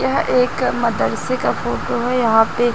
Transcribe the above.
यह एक मदरसे का फोटो है यहाँ पे--